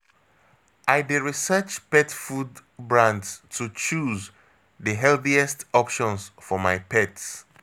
I dey research pet food brands to choose the healthiest options for my pet.